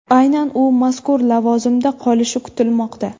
Aynan u mazkur lavozimda qolishi kutilmoqda.